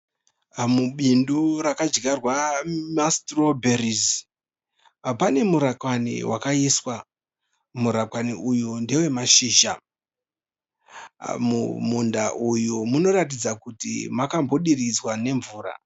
Mubindu rakadyarwa ma(strawberries). Pane murakwani wakaiswa. Murakwani uyu ndewemashizha. Munda uyu munoratidza kuti makambodiridzwa nemvura